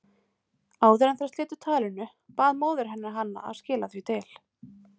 Áður en þær slitu talinu, bað móðir hennar hana að skila því til